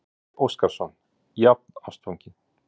Gísli Óskarsson: Jafnástfanginn?